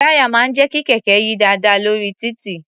Táyà máà ń jẹ́ kí kẹ̀kẹ́ yí dáadáa lórí títì.